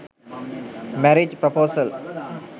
marriage praposal